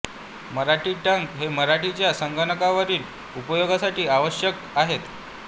मराठी टंक हे मराठीच्या संगणकावरील उपयोगासाठी अत्यावश्यक आहेत